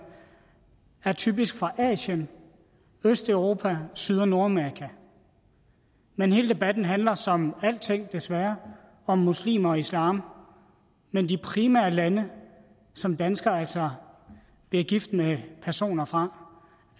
typisk fra asien østeuropa syd og nordamerika men hele debatten handler som alting desværre om muslimer og islam men de primære lande som danskere altså bliver gift med personer fra